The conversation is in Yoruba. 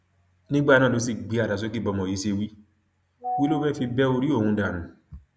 nígbà náà ló sì gbé àdá sókè bọmọ yìí ṣe wí wí ló fẹẹ fi bẹ orí òun dànù